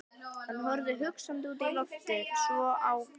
Hann horfði hugsandi út í loftið, svo á